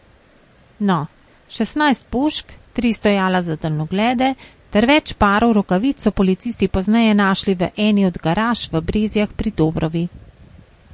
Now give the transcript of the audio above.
No, šestnajst pušk, tri stojala za daljnoglede ter več parov rokavic so policisti pozneje našli v eni od garaž v Brezjah pri Dobrovi.